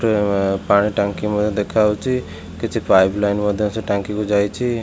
ପାଣି ଟାଙ୍କି ମଧ୍ୟ୍ୟ ଦେଖାଯାଉଛି। କିଛି ପାଇପ ଲାଇନ ମଧ୍ୟ୍ୟ ସେ ଟାଙ୍କି କୁ ଯାଇଛି।